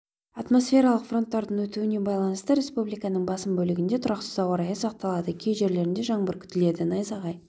атмосфералық фронттардың өтуіне байланысты республиканың басым бөлігінде тұрақсыз ауа райы сақталады кей жерлерде жаңбыр күтіледі найзағай